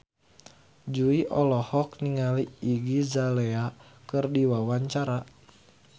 Jui olohok ningali Iggy Azalea keur diwawancara